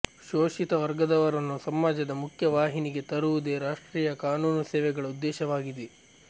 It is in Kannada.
ಶೋಷಿತ ವರ್ಗದವರನ್ನು ಸಮಾಜದ ಮುಖ್ಯವಾಹಿನಿಗೆ ತರುವುದೇ ರಾಷ್ಟ್ರೀಯ ಕಾನೂನು ಸೇವೆಗಳ ಉದ್ದೇಶವಾಗಿದೆ